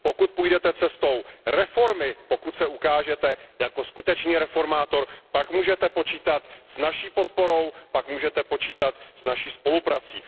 Pokud půjdete cestou reformy, pokud se ukážete jako skutečný reformátor, pak můžete počítat s naší podporou, pak můžete počítat s naší spoluprací.